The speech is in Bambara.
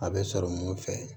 A bɛ sɔrɔ mun fɛ